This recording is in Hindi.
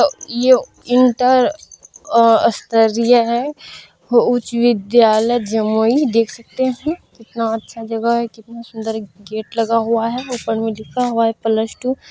अ ये यूँ तो इंटर स्तरीय हैउच्च विद्यालय जमुई देख सकते हैंकितना अच्छा जगह है कितना सुन्दर गेट लगा हुआ है ऊपर मे लिखा हुआ है प्लस टू--